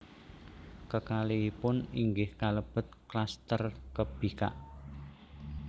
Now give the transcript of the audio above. Kekalihipun inggih kalebet kluster kebikak